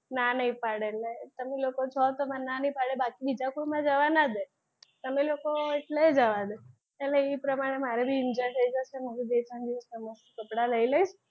ના નહી પાડે એટલે તમે લોકો છો તો મને નાં નહીં પાડે બાકી બીજા કોઈ મને જવા ના દે તમે લોકો હોય એટલે જવા દે એટલે એ પ્રમાણે મારે બી enjoy થય જશે હું બે ત્રણ દિવસ કપડાં લઈ લઇશ.